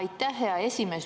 Aitäh, hea esimees!